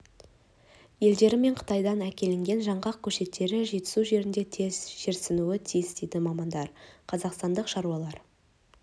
елдері мен қытайдан әкелінген жаңғақ көшеттері жетісу жеріне тез жерсінуі тиіс дейді мамандар қазақстандық шаруалар